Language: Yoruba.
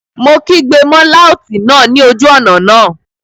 Mo kígbe mọ́ láùtì náà ní ojú ọ̀nà náà